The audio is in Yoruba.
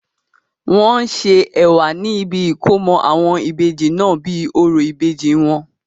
wọ́n ṣe ẹ̀wà ní ibi ìkómọ àwọn Ìbejì náà bíi orò ìbejì wọn